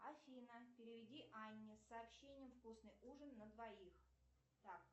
афина переведи анне сообщение вкусный ужин на двоих так